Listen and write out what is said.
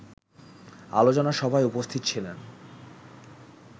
আলোচনা সভায় উপস্থিত ছিলেন